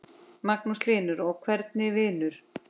Magnús Hlynur: Og hvernig vinur?